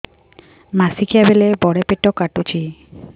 ମାସିକିଆ ବେଳେ ବଡେ ପେଟ କାଟୁଚି